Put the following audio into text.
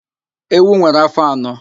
Ewu nwere áfó anọ